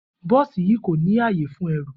Bó̩ò̩sì yìí kò ní àyè fún e̩rùn